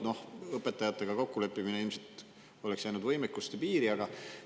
No õpetajatega kokkuleppimine oleks ilmselt jäänud võimekuse piiridesse.